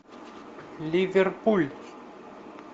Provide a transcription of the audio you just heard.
ливерпуль